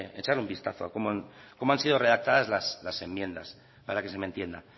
echar un vistazo cómo han sido redactadas las enmiendas para que se me entienda